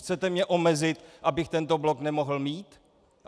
Chcete mě omezit, abych tento blog nemohl mít?